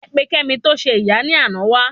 Ẹ pe kemi to se ìyá ni àná wa